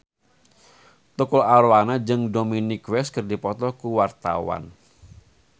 Tukul Arwana jeung Dominic West keur dipoto ku wartawan